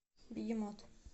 бегемот